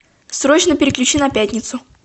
срочно переключи на пятницу